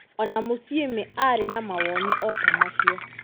O na Musyimi aarĩ na mawoni o ta macio.